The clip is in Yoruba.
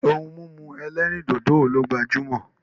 Ohun mímu ẹlẹ́rìndòdò wo ló gbajúmọ̀?